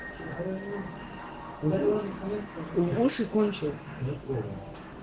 да какой лучше кончилось закона